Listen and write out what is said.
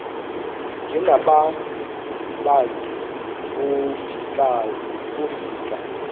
njengaba bantu wofika